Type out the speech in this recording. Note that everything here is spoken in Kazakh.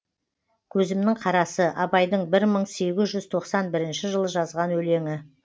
көзімнің қарасы абайдың бір мың сегіз жүз тоқсан бірінші жылы жазған өлеңі